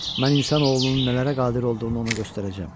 Mən insan oğlunun nələrə qadir olduğunu ona göstərəcəm.